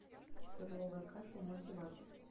перловая каша в мультиварке